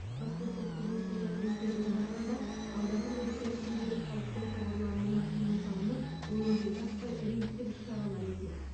баспасөз қызметінің мәліметтеріне қарағанда алдағы мерекелік күндері халықтың шоғырлануына тыйым салынып өңірде жаппай рейдтік іс шаралар өтеді